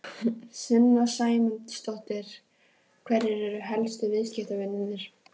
Sunna Sæmundsdóttir: Hverjir eru helstu viðskiptavinirnir?